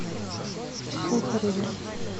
сухареве